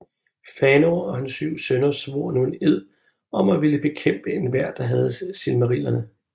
Fëanor og hans syv sønner svor nu en ed om at ville bekæmpe enhver der havde Silmarillerne